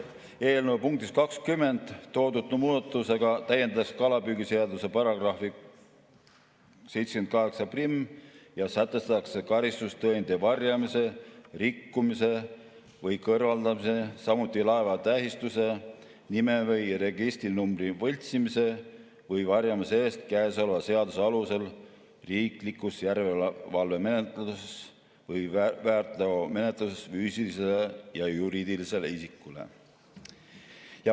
Eelnõu punktis 20 toodud muudatusega täiendatakse kalapüügiseaduse § 781 ja sätestatakse karistus tõendite varjamise, rikkumise või kõrvaldamise, samuti laeva tähistuse, nime või registrinumbri võltsimise või varjamise eest käesoleva seaduse alusel riiklikus järelevalvemenetluses või väärteomenetluses füüsilisele ja juriidilisele isikule.